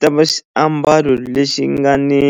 Tiva xiambalo lexi nga ni